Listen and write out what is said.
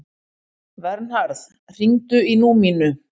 Vernharð, hringdu í Númínu.